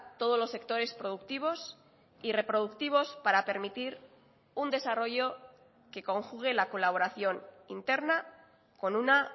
todos los sectores productivos y reproductivos para permitir un desarrollo que conjugue la colaboración interna con una